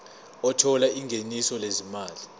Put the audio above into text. othola ingeniso lezimali